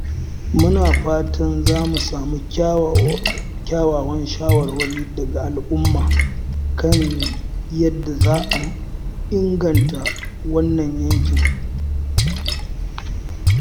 Muna fatan za mu samu kyawawan shawarwari daga al’umma kan yadda za a inganta wannan yankin.